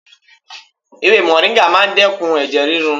Ewé mòríńgà máa ń dẹ́kun ẹ̀jẹ̀ ríru.